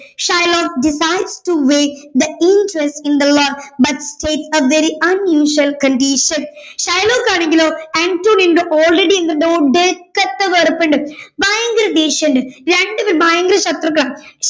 Shylock decides to wait the interest in the loan but take a very unusual condition Shylock ആണെങ്കിലും അന്റോണിയോയോട് ഒടുക്കത്തെ വെറുപ്പുണ്ട് ഭയങ്കര ദേഷ്യമുണ്ട് രണ്ടുപേരും ഭയങ്കര ശത്രുക്കളാണ്